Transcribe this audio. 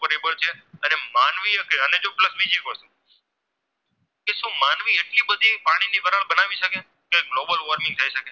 કે શું માનવી આટલી બધી પાણીથી વરાળ બનાવી શકે કે Global Worming થાય શકે